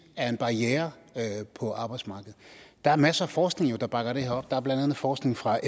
er en barriere på arbejdsmarkedet der er masser af forskning der bakker det her op der er blandt andet forskning fra